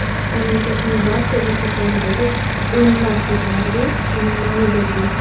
Mamlakatning barcha burchaklaridagi o‘nlab ko‘chalarga uning nomi berildi.